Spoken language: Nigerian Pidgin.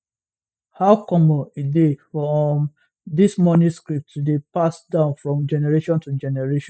how common e dey for um dis money scripts to dey passed down from generation to generation